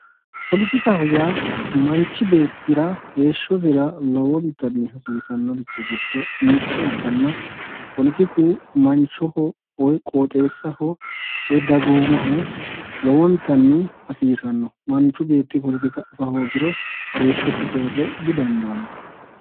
Poletikaho yaa manchi beettira heeshshosira lowontanni hasiisanorechi giddo mitto ikkanna poletiku manchoho woyi qoxxeessaho woyi dagoomaho lowontanni hasiisano, manchu beetti poletika afa hoogiro heeshshosi soore didandaano.